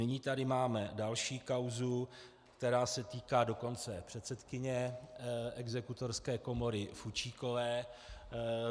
Nyní tady máme další kauzu, která se týká dokonce předsedkyně Exekutorské komory Fučíkové.